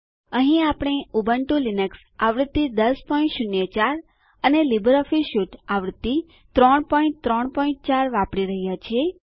અહીં આપણે Ubuntu Linux આવૃત્તિ 1004 અને લીબરઓફીસ સ્યુટ આવૃત્તિ 334 વાપરી રહ્યા છીએ